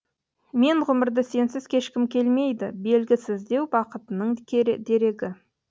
мен ғұмырды сенсіз кешкім келмейді белгісіздеу бақытының дерегі